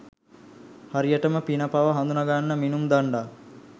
හරියටම පින පව හඳුනාගන්න මිනුම් දණ්ඩක්.